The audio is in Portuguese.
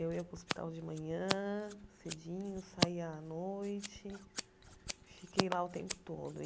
Eu ia para o hospital de manhã cedinho, saía à noite, fiquei lá o tempo todo.